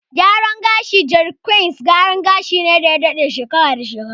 Gyaran gashin "jeri kwains", gyaran gashi ne da ya daɗe shekara da shekaru.